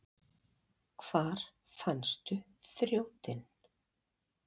Hvar fannstu þrjótinn?